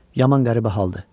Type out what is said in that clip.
Yaman qəribə haldır.